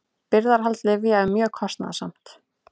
Birgðahald lyfja er mjög kostnaðarsamt.